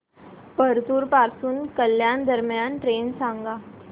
परतूर पासून कल्याण दरम्यान ट्रेन सांगा